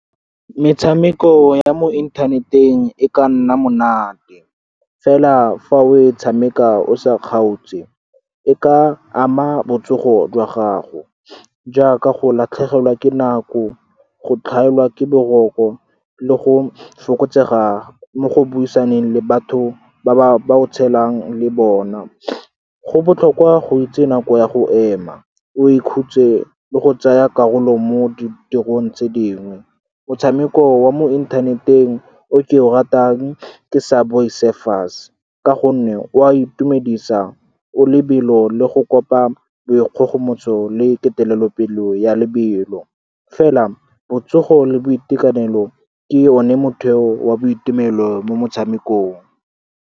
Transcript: Metshameko ya mo inthaneteng e ka nna monate, fela fa o e tshameka o sa kgaotse, e ka ama botsogo jwa gago jaaka go latlhegelwa ke nako, go tlhaelwa ke boroko, le go fokotsega mo go buisaneng le batho ba o tshelang le bona. Go botlhokwa go itse nako ya go ema, o e khutse le go tsaya karolo mo ditirong tse dingwe. Motshameko wa mo inthaneteng o ke o ratang ke Subway Surfers ka gonne o a itumedisa, o lebelo, le go kopa boikgogomotso le petelelo pelo ya lebelo. Fela, botsogo le boitekanelo ke one motheo wa boitumelo mo motshamekong.